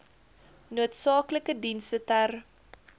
noodsaaklike dienste ter